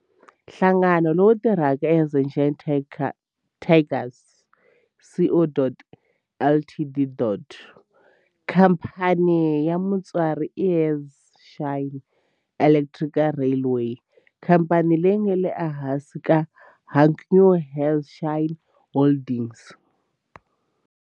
Nhlangano lowu tirhaka i Hanshin Tigers Co., Ltd. Khamphani ya mutswari i Hanshin Electric Railway, khamphani leyi nga ehansi ka Hankyu Hanshin Holdings.